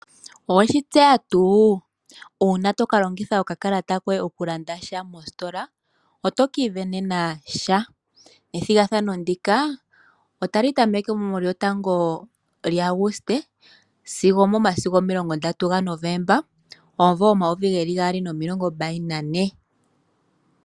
Oweshi tseya tuu uuna tolongitha okakalata koye okulanda sha mositola ,otokiivenena sha, ethigathano ndika otali tameke mu 1 lyaAguste sigo momasiku omi30 gaNovemba 2024.